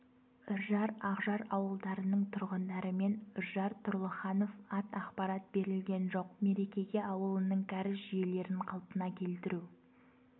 үржар ақжар ауылдарының тұрғындарымен үржар тұрлыханов ат ақпарат берілген жоқ мереке ауылының кәріз жүйелерін қалпына келтіру